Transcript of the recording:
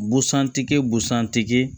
Busan tigi busan tigi